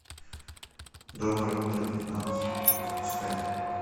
доброе утро вьетнам запускай